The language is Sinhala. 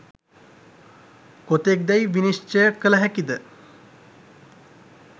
කොතෙක් දැයි නිශ්චය කළ හැකි ද?